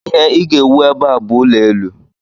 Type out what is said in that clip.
Ihe ị ga-ewu ebe a bụ ụlọelu!